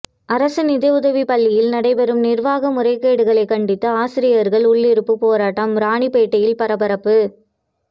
அரசு நிதியுதவி பள்ளியில் நடைபெறும் நிர்வாக முறைகேடுகளை கண்டித்து ஆசிரியர்கள் உள்ளிருப்பு போராட்டம் ராணிப்பேட்டையில் பரபரப்பு